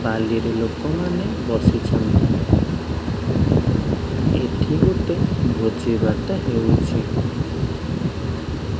ବାଲିରେ ଲୋକମାନେ ବସିଛନ୍ତି ଏଇଠି ଗୋଟେ ଭୋଜି ଭାତ ହେଉଛି।